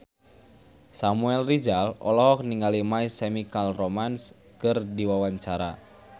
Samuel Rizal olohok ningali My Chemical Romance keur diwawancara